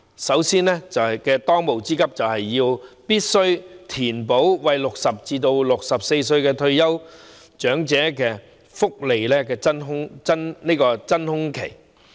首先，當務之急就是必須填補60歲至64歲這段福利真空期。